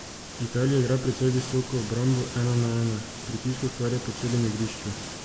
Italija igra precej visoko, obrambo ena na ena, pritisk ustvarja po celem igrišču.